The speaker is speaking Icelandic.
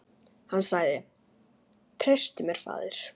Hann sagði: Treystu mér, faðir.